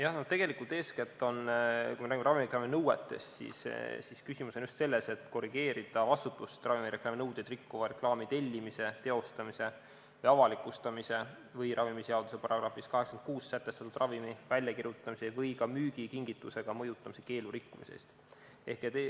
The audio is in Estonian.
Jah, no tegelikult, kui me räägime ravimireklaami nõuetest, siis küsimus on eeskätt selles, et korrigeerida vastutust ravimireklaami nõudeid rikkuva reklaami tellimise, teostamise ja avalikustamise või ravimiseaduse §-s 86 sätestatud ravimi väljakirjutamise või ka müügi kingitusega mõjutamise keelu rikkumise eest.